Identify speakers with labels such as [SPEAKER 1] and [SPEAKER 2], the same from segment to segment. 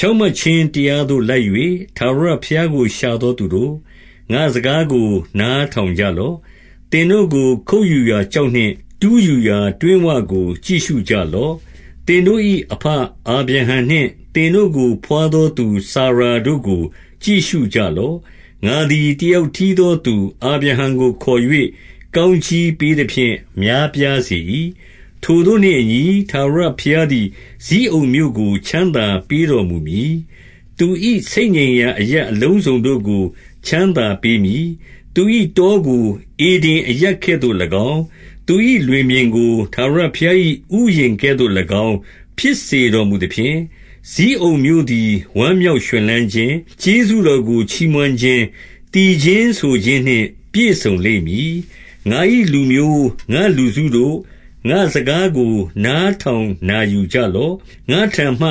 [SPEAKER 1] ဖြောင့်မတ်ခြင်းတရားသို့ လိုက်၍ ထာဝရ ဘုရားကို ရှာသောသူတို့၊ ငါ့စကားကို နားထောင်ကြ လော့။ သင်တို့ကို ခုတ်ယူရာ ကျောက်နှင့်၊ တူးယူရာ တွင်းဝကို ကြည့်ရှုကြလော့။ 2 သင်တို့၏အဘ အာဗြဟံနှင့်၊ သင်တို့ကို ဘွား သော သူစာရာတို့ကို ကြည့်ရှုကြလော့။ ငါသည် တယောက်တည်းသောသူ အာဗြဟံကို ခေါ်၍၊ ကောင်း ကြီးပေးသဖြင့် များပြားစေ၏။ 3 ထိုသို့နှင့်အညီ၊ ထာဝရဘုရားသည် ဇိအုန်မြို့ကို ချမ်းသာပေးတော်မူမည်။ သူ၏ဆိတ်ညံရာ အရပ်အလုံး စုံတို့ကို ချမ်းသာပေးမည်။ သူ၏တောကို ဧဒင်အရပ်ကဲ့ သို့၎င်း၊ သူ၏လွင်ပြင်ကို ထာဝရဘုရား၏ဥယျာဉ်ကဲ့သို့ ၎င်း ဖြစ်စေတော်မူသဖြင့်၊ ဇိအုန်မြို့သည် ဝမ်းမြောက်ရွှင် လန်းခြင်း၊ ကျေးဇူးတော်ကို ချီးမွမ်းခြင်း၊ သီချင်းဆိုခြင်း နှင့် ပြည့်စုံလိမ့်မည်။ 4 ငါ၏လူမျိုး၊ ငါ့လူစုတို့၊ ငါ့စကားကို နားထောင် နာယူကြလော့။ ငါ့ထံမှ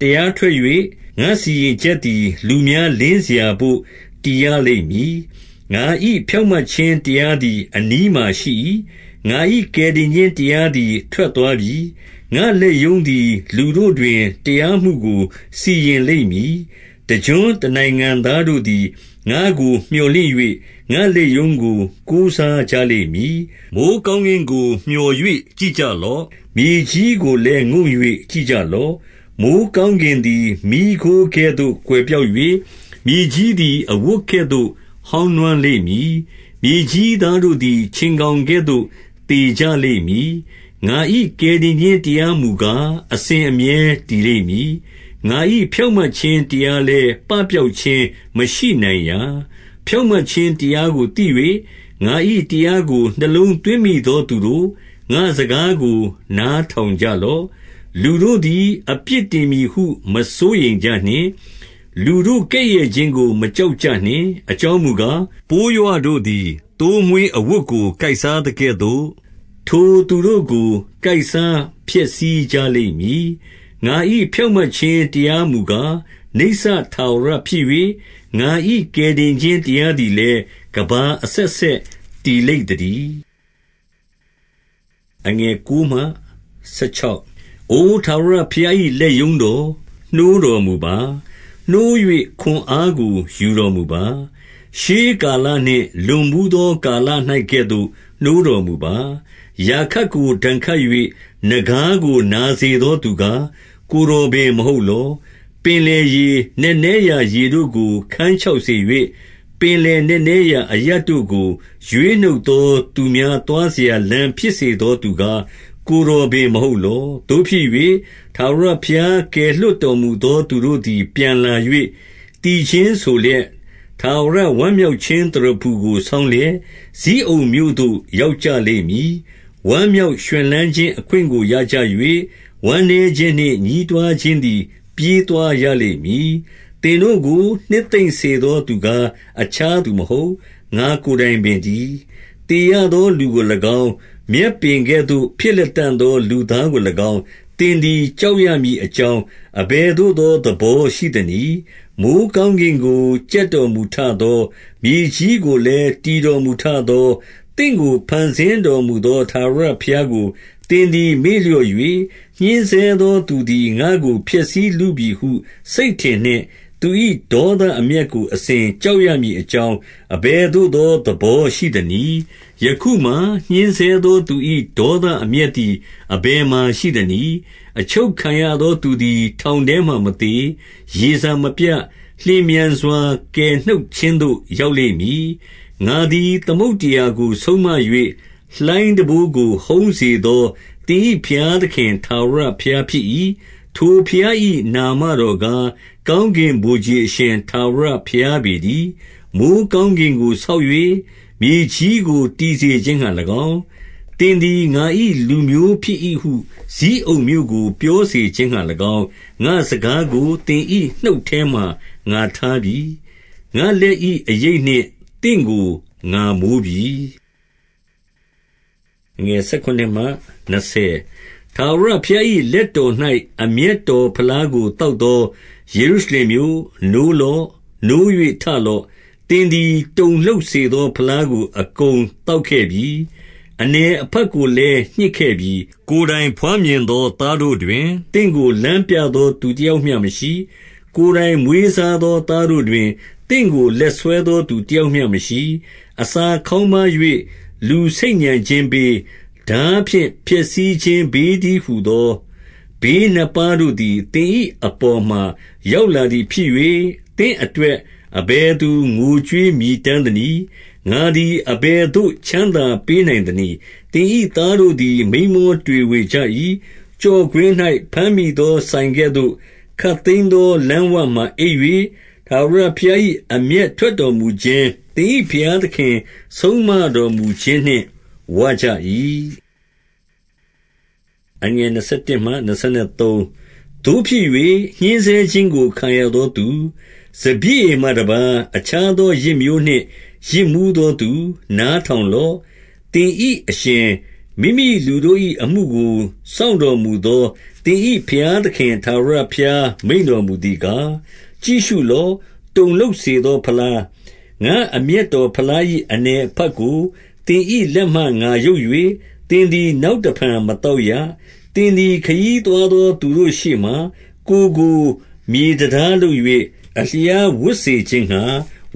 [SPEAKER 1] တရားထွက်၍ ငါစီရင်ချက်သည် လူများလင်းစရာဘို့ တည်ရလိမ့်မည်။ 5 ငါ၏ဖြောင့်မတ်ခြင်းတရားသည် အနီးမှာရှိ၏။ ငါ၏ကယ်တင်ခြင်းတရားသည် ထွက်သွားပြီ။ ငါ့လက်ရုံး သည် လူတို့တွင် တရားမှုကို စီရင်လိမ့်မည်။ တကျွန်း တနိုင်ငံသားတို့သည် ငါ့ကို မြော်လင့်၍၊ ငါ့လက်ရုံးကို ကိုးစားကြလိမ့်မည်။ 6 မိုဃ်းကောင်းကင်ကို မျှော်၍ကြည့်ကြလော့။ မြေကြီးကိုလည်း ငုံ့၍ ကြည့်ကြလော့။ မိုဃ်းကောင်းကင် သည် မီးခိုးကဲ့သို့ ကွယ်ပျောက်၍၊ မြေကြီးသည် အဝတ် ကဲ့သို့ ဟောင်းနွမ်းလိမ့်မည်။ မြေကြီးသားတို့သည် ခြင် ကောင်ကဲ့သို့ သေကြလိမ့်မည်။ ငါ၏ ကယ်တင်ခြင်းတရား မူကား အစဉ်အမြဲတည်လိမ့်မည်။ ငါ၏ ဖြောင့်မတ်ခြင်း တရားလည်း ပပျောက်ခြင်း မရှိနိုင်ရာ။ 7 ဖြောင့်မတ်ခြင်းတရားကိုသိ၍၊ ငါ၏တရားကို နှလုံးသွင်းမိသော သူတို့၊ ငါ့စကားကို နားထောင်ကြ လော့။ လူတို့သည် အပြစ်တင်မည်ဟု မစိုးရိမ်ကြနှင့်။ လူတို့ကဲ့ရဲ့ခြင်းကို မကြောက်ကြနှင့်။ 8 အကြောင်းမူကား၊ ပိုးရွတို့သည် သိုးမွှေးအဝတ် ကို ကိုက်စားသကဲ့သို့၊ ထိုသူတို့ကို ကိုက်စားဖျက်ဆီးကြ လိမ့်မည်။ ငါ၏ဖြောင့်မတ်ခြင်းတရားမူကား နိစ္စထာဝရ ဖြစ်၍၊ ငါ၏ ကယ်တင်ခြင်းတရားသည်လည်း ကမ္ဘာ အဆက်ဆက် တည်လိမ့်သတည်း။ 9 အို ထာဝရဘုရား၏ လက်ရုံးတော်၊ နိုးတော်မူ ပါ။ နိုး၍ ခွန်အားကို ယူတော်မူပါ။ ရှေးကာလနှင့် လွန် ဘူးသော ကာလ၌ကဲ့သို့ နိုးတော်မူပါ။ ရာခပ်ကို ဒဏ်ခတ် ၍ နဂါးကို နာစေသောသူကား၊ ကိုယ်တော်ပင် မဟုတ် လော။ 10 ပင်လယ်ရေ၊ နက်နဲရာရေတို့ကို ခန်းခြောက်စေ ၍၊ ပင်လယ်နက်နဲရာ အရပ်တို့ကို ရွေးနှုတ်သော သူများ သွားစရာလမ်းဖြစ်စေသောသူကား၊ ကိုယ်တော်ပင် မဟုတ်လော။ 11 သို့ဖြစ်၍၊ ထာဝရဘုရားကယ်လွှတ်တော်မူသော သူတို့သည် ပြန်လာ၍ သီချင်းဆိုလျက်၊ ထာဝရဝမ်း မြောက်ခြင်းသရဖူကို ဆောင်းလျက်၊ ဇိအုန်မြို့သို့ ရောက် ကြလိမ့်မည်။ ဝမ်းမြောက်ရွှင်လန်းခြင်းအခွင့်ကို ရကြ၍၊ ဝမ်းနည်းခြင်းနှင့် ညည်းတွားခြင်းသည် ပြေးသွားရလိမ့် မည်။ 12 သင်တို့ကို နှစ်သိမ့်စေသော သူကား၊ အခြားသူ မဟုတ်၊ ငါ့ကိုယ်တိုင်ပေတည်း။ သေရသော လူကို၎င်း၊ မြက်ပင်ကဲ့သို့ ဖြစ်လတံ့သော လူသားကို၎င်း၊ သင်သည် ကြောက်ရမည်အကြောင်း၊ အဘယ်သို့သော သဘော ရှိသနည်း။ 13 မိုဃ်းကောင်းကင်ကို ကြက်တော်မူထသော၊ မြေကြီးကိုလည်း တည်တော်မူထသော၊ သင့်ကို ဖန်ဆင်း တော်မူသော ထာဝရဘုရားကို သင်သည် မေ့လျော့၍၊ ညှဉ်းဆဲသောသူသည် ငါ့ကို ဖျက်ဆီးလုပြီဟု စိတ်ထင်နှင့်၊ သူ၏ဒေါသအမျက်ကို အစဉ်ကြောက်ရမည်အကြောင်း၊ အဘယ်သို့သော သဘောရှိသနည်း။ ယခုမှာ ညှဉ်းဆဲ သော သူ၏ဒေါသအမျက်သည် အဘယ်မှာ ရှိသနည်း။ 14 အချုပ်ခံရသော သူသည် ထောင်ထဲမှာ မသေ၊ ရေစာမပြတ်၊ လျင်မြန်စွာ ကယ်နှုတ်ခြင်းသို့ ရောက်လိမ့် မည်။ 15 ငါသည် သမုဒ္ဒရာကို ဆုံးမ၍ လှိုင်းတံပိုးကို ဟုန်းစေသော သင်၏ဘုရားသခင်ထာဝရဘုရားဖြစ်၏။ ထိုဘုရား၏နာမတော်ကား၊ ကောင်းကင်ဗိုလ်ခြေအရှင် ထာဝရဘုရားပေတည်း။ 16 မိုဃ်းကောင်းကင်ကို ဆောက်၍၊ မြေကြီးကို တည်စေခြင်းငှါ၎င်း၊ သင်သည် ငါ၏လူမျိုးဖြစ်၏ဟု ဇိအုန်မြို့ကို ပြောစေခြင်းငှါ၎င်း၊ ငါ့စကားကို သင်၏နှုတ် ထဲမှာ ငါထားပြီ။ ငါ့လက်၏အရိပ်နှင့် သင့်ကို ငါမိုးပြီ။ 17 ထာဝရဘုရား၏လက်တော်၌ အမျက်တော် ဖလားကို သောက်သော ယေရုရှလင်မြို့၊ နိုးလော့။ နိုး၍ ထလော့။ သင်သည် တုန်လှုပ်စေသောဖလားကို အကုန် သောက်ခဲ့ပြီ။ အနည်အဖက်ကိုလည်း ညှစ်ခဲ့ပြီ။ 18 ကိုယ်တိုင်ဘွားမြင်သော သားတို့တွင်၊ သင့်ကို လမ်းပြသော သူတယောက်မျှမရှိ။ ကိုယ်တိုငိမွေးစားသော သားတို့တွင်၊ သင့်ကို လက်ဆွဲသော သူတယောက်မျှမရှိ။ 19 အစာခေါင်းပါး၍ လူဆိတ်ညံခြင်းဘေး၊ ထား ဖြင့် ဖျက်ဆီးခြင်းဘေးတည်းဟူသော ဘေးနှစ်ပါးတို့သည် သင်၏အပေါ်မှာ ရောက်လာသည်ဖြစ်၍၊ သင့်အတွက် အဘယ်သူ ငိုကြွေးမြည်တမ်းသနည်း။ ငါသည် အဘယ် သို့ ချမ်းသာပေးနိုင်သနည်း။ 20 သင်၏သားတို့သည် မိန်းမောတွေဝေကြ၏။ ကျော့ကွင်း၌ ဘမ်းမိသော စိုင်ကဲ့သို့ ခပ်သိမ်းသော လမ်း ဝမှာအိပ်၍၊ ထာဝရဘုရား၏ အမျက်ထွက်တော်မူခြင်း၊ သင်၏ဘုရားသခင်ဆုံးမတော်မူခြင်းနှင့် ဝကြ၏။ 21 သို့ဖြစ်၍၊ ညှဉ်းဆဲခြင်းကို ခံရသောသူ၊ စပျစ် ရည်မှတပါး အခြားသော ယစ်မျိုးနှင့် ယစ်မူးသောသူ၊ နားထောင်လော့။ 22 သင်၏အရှင်၊ မိမိလူတို့၏အမှုကို စောင့်တော်မူ သော သင်၏ဘုရားသခင်ထာဝရဘုရား မိန့်တော်မူသည် ကား၊ ကြည့်ရှုလော့။ တုန်လှုပ်စေသော ဖလား၊ ငါ့အမျက် တော်ဖလား၏ အနည်အဖတ်ကို သင်၏လက်မှ ငါရုပ်၍၊ သင်သည် နောက်တဖန်မသောက်ရ။ 23 သင်သည် ခရီးသွားသော သူတို့ရှေ့မှာ ကိုယ်ကို မြေတန်တားလုပ်၍၊ အလျားဝပ်စေခြင်းငှါ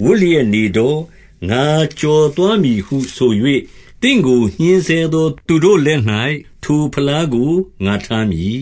[SPEAKER 1] ဝပ်လျက်နေ တော့။ ငါကျော်သွားမည်ဟုဆို၍၊ သင့်ကို ညှဉ်းဆဲသော သူတို့လက်၌ ထိုဖလားကို ငါထားမည်